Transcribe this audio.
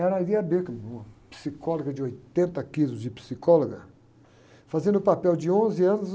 Era a, uma psicóloga de oitenta quilos de psicóloga, fazendo o papel de onze anos.